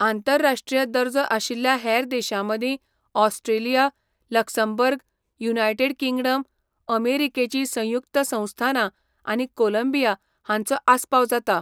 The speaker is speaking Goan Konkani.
आंतरराश्ट्रीय दर्जो आशिल्ल्या हेर देशांमदीं ऑस्ट्रेलिया, लक्समबर्ग, युनायटेड किंगडम, अमेरिकेचीं संयुक्त संस्थानां आनी कोलंबिया हांचो आस्पाव जाता.